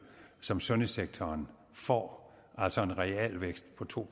som sundhedssektoren får altså en realvækst på to